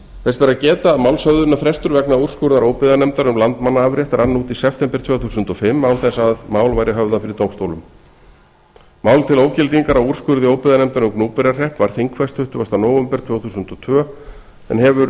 þess ber að geta að málshöfðunarréttur vegna úrskurðar óbyggðanefndar um landmannaafrétt rann út í september tvö þúsund og fimm án þess að mál væri höfðað fyrir dómstólum mál til ógildingar á úrskurði óbyggðanefndar um gnúpverjahrepp var þingfest tuttugasta nóvember tvö þúsund og tvö en hefur